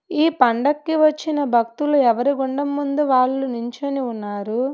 ఈ పండక్కి వచ్చిన భక్తులు ఎవరి గుండం ముందు వాళ్ళు నించొని ఉన్నారు.